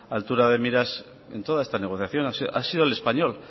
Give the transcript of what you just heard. altura de miras en toda esta negociación ha sido el español